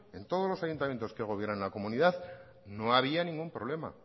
en todos los ayuntamientos que gobiernan en la comunidad no había ningún problema